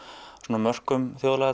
mörkum